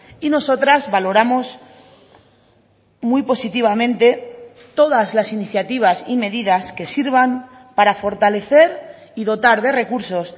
y nosotras valoramos muy positivamente todas las iniciativas y medidas que sirvan para fortalecer y dotar de recursos